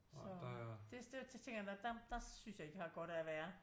Så det der så tænker jeg nå der synes jeg ikke jeg har godt af at være